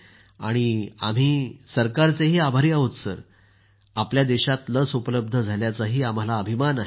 आणि आमच्या सरकारचे आभारी आहोत आणि आपल्या देशात लस उपलब्ध झाल्याचा आम्हाला अभिमान आहे